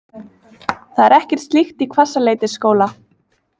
Það er ekkert slíkt í Hvassaleitisskóla